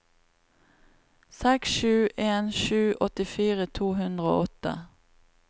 seks sju en sju åttifire to hundre og åtte